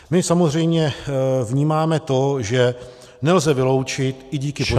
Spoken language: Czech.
My samozřejmě vnímáme to, že nelze vyloučit, i díky počasí -